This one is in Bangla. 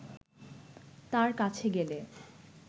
তাঁর কাছে গেলে